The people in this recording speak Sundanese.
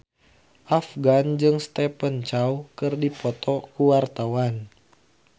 Afgan jeung Stephen Chow keur dipoto ku wartawan